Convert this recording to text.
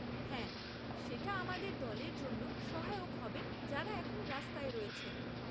হ্যাঁ, সেটা আমাদের দলের জন্য সহায়ক হবে যারা এখন রাস্তায় রয়েছে।